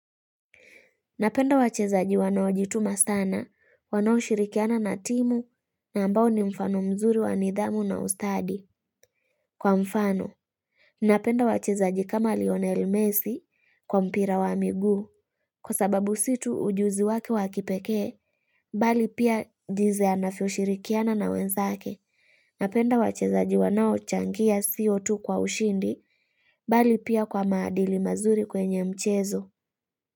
Napenda wachezaji wanaojituma sana, wanaoshirikiana na timu na ambao ni mfano mzuri wa nidhamu na ustadi. Kwa mfano, napenda wachezaji kama Lionel Messi kwa mpira wa miguu. Kwa sababu si tu ujuzi wake wakipekee, bali pia jinzi anavyoshirikiana na wenzake. Napenda wachezaji wanaochangia sio tu kwa ushindi, bali pia kwa maadili mazuri kwenye mchezo.